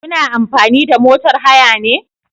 Kuna amfani da motar haya ne?